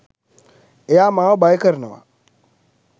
එයා මාව භය කරනවා.